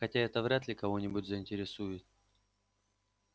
хотя это вряд ли кого-нибудь заинтересует